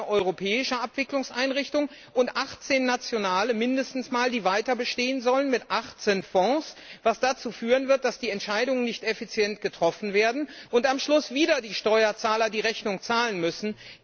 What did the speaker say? Eine europäische Abwicklungseinrichtung und mindestens 18 nationale, die weiterbestehen sollen, mit 18 Fonds, was dazu führen wird, dass die Entscheidungen nicht effizient getroffen werden, und am Schluss wieder die Steuerzahler die Rechnung zahlen müssen.